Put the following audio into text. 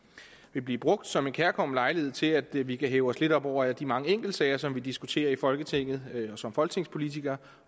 vil blive brugt som en kærkommen lejlighed til at vi vi kan hæve os lidt op over alle de mange enkeltsager som vi diskuterer i folketinget og som folketingspolitikere